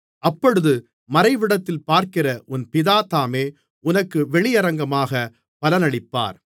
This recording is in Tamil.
அப்பொழுது மறைவிடத்தில் பார்க்கிற உன் பிதா தாமே உனக்கு வெளியரங்கமாகப் பலனளிப்பார்